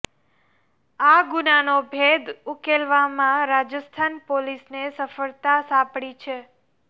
આ ગુનાનો ભેદ ઉકેલવામાં રાજસ્થાન પોલીસને સફળતા સાંપડી છે